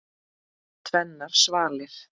Tvennar svalir.